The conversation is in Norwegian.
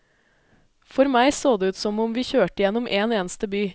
For meg så det ut som om vi kjørte igjennom en eneste by.